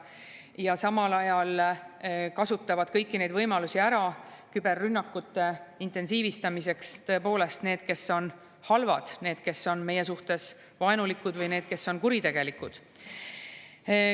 Ja samal ajal kasutavad kõiki neid võimalusi küberrünnakute intensiivistamiseks tõepoolest need, kes on halvad, need, kes on meie suhtes vaenulikud, või need, kes on kuritegelikud.